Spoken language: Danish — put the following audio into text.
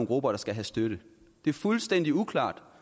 grupper der skal have støtte det er fuldstændig uklart